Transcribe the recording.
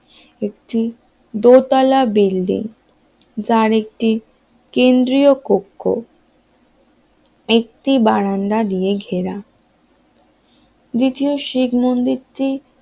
একটি দোতলা বিল্ডিং যার একটি কেন্দ্রীয় কক্ষ একটি বারান্দা দিয়ে ঘেরা দ্বিতীয় শিখ মন্দিরটি